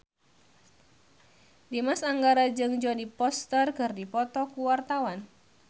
Dimas Anggara jeung Jodie Foster keur dipoto ku wartawan